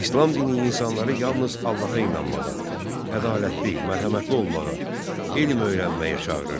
İslam dini insanları yalnız Allaha inanmağa, ədalətli, mərhəmətli olmağa, elm öyrənməyə çağırırdı.